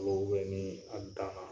Malo ni Alikama